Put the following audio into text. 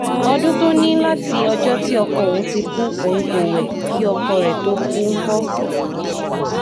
ọdún tó ní láti ọjọ́ tí ọkọ òun ti kú òun kò wẹ̀ kí ọkọ rẹ̀ tóó kú ńkọ́